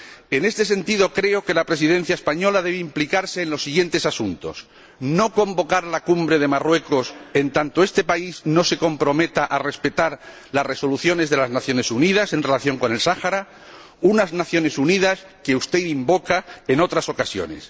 En este sentido, creo que la Presidencia española debe implicarse en los siguientes asuntos no convocar la Cumbre de Marruecos en tanto este país no se comprometa a respetar las resoluciones de las Naciones Unidas en relación con el Sáhara, unas Naciones Unidas que usted invoca en otras ocasiones.